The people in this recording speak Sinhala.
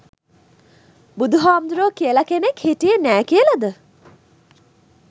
බුදුහාමුදුරුවෝ කියල කෙනෙක් හිටියේ නෑ කියලද?